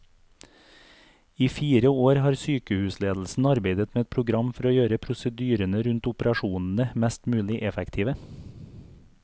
I fire år har sykehusledelsen arbeidet med et program for å gjøre prosedyrene rundt operasjonene mest mulig effektive.